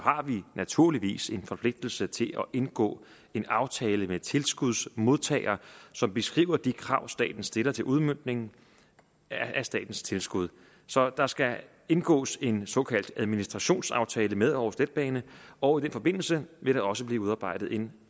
vi naturligvis en forpligtelse til at indgå en aftale med tilskudsmodtager som beskriver de krav som staten stiller til udmøntning af statens tilskud så der skal indgås en såkaldt administrationsaftale med aarhus letbane og i den forbindelse vil der også blive udarbejdet en